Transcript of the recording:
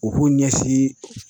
U k'u ɲɛsin